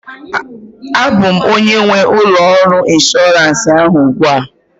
A bụ m onye nwe ụlọ ọrụ inshọransị ahụ ugbu a